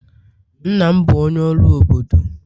nna m bu onye oru obodo